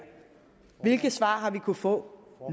hvilket svar har vi kunnet få